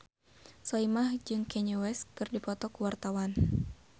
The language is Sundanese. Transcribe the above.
Soimah jeung Kanye West keur dipoto ku wartawan